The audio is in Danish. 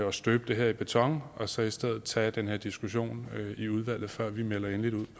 at støbe det her i beton og så i stedet tage den her diskussion i udvalget før vi melder endeligt ud